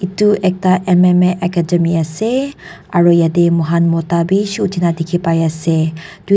itu ekta MMA academy ase aru yetey moihan mota bi dikhina pai ase.